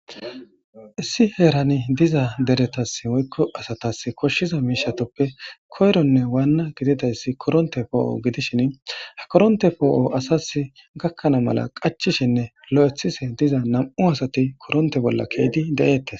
issi heerani diza deretas woykko asatas koshshiza miishatoppe koyronne waanna gididayssi koronte poo7o gidishin ha koronte poo7o asas gakkanaa mala qachishinne lo7ethise diza nam7u asati koronte bolla keeydi de7eettes